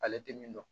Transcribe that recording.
Ale tɛ min dɔn